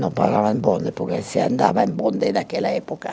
Não pagavam bonde, porque se andava em bonde naquela época.